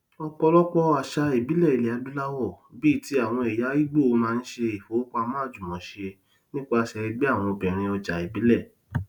ọpọlọpọ àṣà ìbílẹ ilẹadúláwọ bíi ti àwọn ẹya ìgbò máa ń ṣe ìfowópamọ àjùmọṣe nípasẹ ẹgbẹ àwọn obìnrin ọjà ìbílẹ